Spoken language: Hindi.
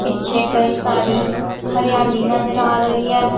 पीछे कई सारी हरियाली नजर आ रही है।